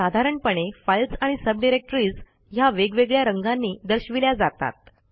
साधारणपणे फाईल्स आणि सबडिरेक्टरीज ह्या वेगवेगळ्या रंगांनी दर्शविल्या जातात